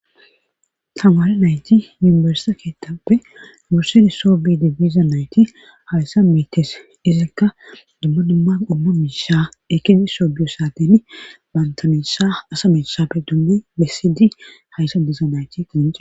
Tamare nayti yunibersita keettappe wursini soo bi ditiza nayti hayssa miites izikka dumma dumma gomma miisha ekenisoo biyo saateni bantamisa asa miisafe dumbe bisidi hayssa diiza nayti qiince